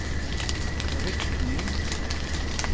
riktning